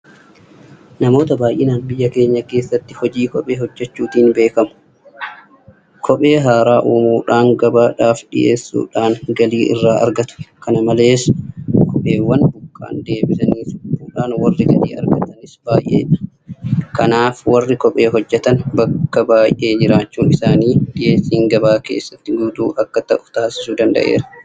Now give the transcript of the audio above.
Namoota baay'een biyya keenya keessatti hojii kophee hojjechuutiin beekamu. Kophee haaraa uumuudhaan gabaadhaaf dhiyeessuudhaan galii irraa argatu. Kana malees kopheewwan buqqa'an deebisanii suphuudhaan warri galii argatanis baay'eedha. Kanaaf warri kophee hojjetan bakka baay'ee jiraachuun isaanii dhiyeessiin gabaa keessatti guutuu akka ta'u taasisuu danda'eera.